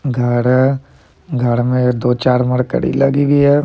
घर है घर में दो-चार मार्केडी लगी हुई है।